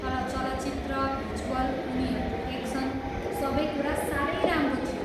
तर चलचित्र, भिजुअल, उनीहरूको एक्सन, सबै कुरा साह्रै राम्रो थियो।